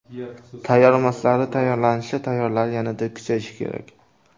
Tayyormaslari tayyorlanishi, tayyorlari yanada kuchayishi kerak.